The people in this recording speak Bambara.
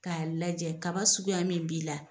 K'a lajɛ kaba suguya min b'i la.